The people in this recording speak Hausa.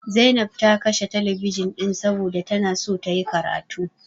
Zainab ta kashe telebijin ɗin saboda tana so tayi karatu.